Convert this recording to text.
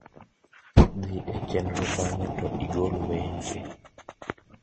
dhie chenro bange` to igol wenche